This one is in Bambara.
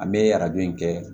An bɛ arajo in kɛ